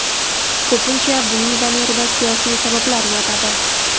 Ko‘pincha buning zamirida siyosiy sabablar yotadi.